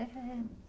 E, Sr.